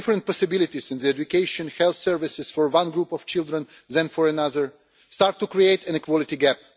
Different possibilities in education and health services for one group of children than for another start to create an equality gap.